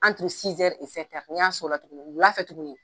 n'i y'a sɔn o la tuguni, wulafɛ tuguni